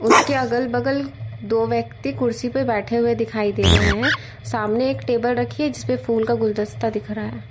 उसके अगल बगल दो व्यक्ति कुर्सी पे बैठे हुए दिखाई दे रहे हैं सामने एक टेबल रखी है जिस पे फूल का गुलदस्ता दिख रहा है।